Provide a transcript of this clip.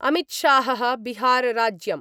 अमितशाहः बिहार राज्यम्